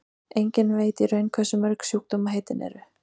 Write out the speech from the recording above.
enginn veit í raun hversu mörg sjúkdómaheitin eru